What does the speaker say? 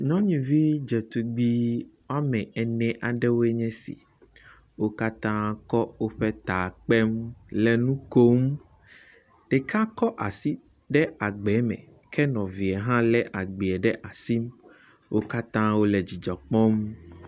Nyɔnuvi dzetugbi woame ene aɖewoe nye si. Wo katã kɔ woƒe ta kpem, le nu kom. Ɖeka kɔ asi ɖe agbee me ke nɔvia hã lé agbee ɖe asi. Wo katã wole dzidzɔ kpɔm.